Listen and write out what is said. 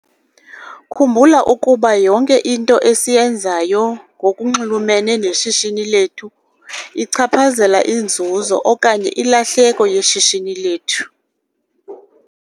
Khumbula ukuba yonke into esiyenzayo, ngokunxulumene neshishini lethu, ichaphazela inzuzo okanye ilahleko yeshishini lethu.